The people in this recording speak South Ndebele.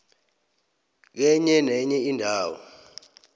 kenye nenye indawo